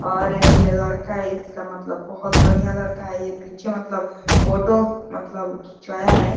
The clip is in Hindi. और एक ये लड़का है। इसका मतलब बोहोत बढ़िया लड़का है ये। पीछे मतलब फोटो मतलब खींचवाया है।